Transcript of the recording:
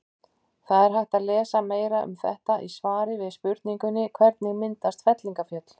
Það er hægt að lesa meira um þetta í svari við spurningunni Hvernig myndast fellingafjöll?